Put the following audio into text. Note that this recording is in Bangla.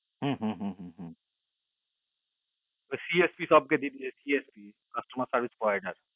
হুহু হু CFC সবটা দিলে ওই CFC customer service পরে না আর